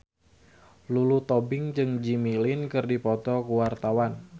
Lulu Tobing jeung Jimmy Lin keur dipoto ku wartawan